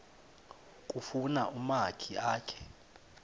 kufuna umakhi akhe